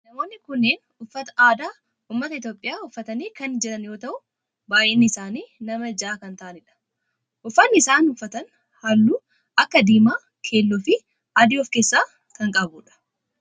Namoonni kunneen uffata aadaa ummata Itiyoophiyaa uffatanii kan jiran yoo ta'u baayyinni isaanii nama ja'a kan ta'aanidha. Uffanni isaan uffatan halluu akka diimaa, keelloo fi adii of keessaa kan qabudha.